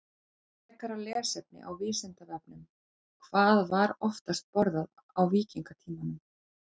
Frekara lesefni á Vísindavefnum: Hvað var oftast borðað á víkingatímanum?